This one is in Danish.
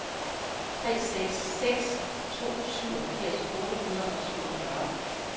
tre seks seks to syvogfirs otte hundrede og syvogfyrre